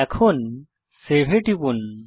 এখন সেভ এ টিপুন